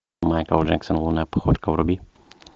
майкл джексон лунная походка вруби